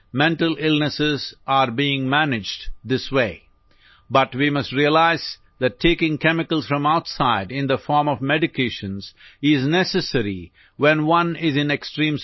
Mental illnesses are being managed this way but we must realize that taking chemicals from outside in the form of medications is necessary when one is in extreme situation